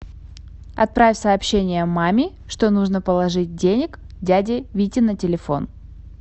отправь сообщение маме что нужно положить денег дяде вите на телефон